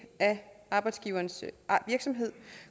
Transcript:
af arbejdsgiverens virksomhed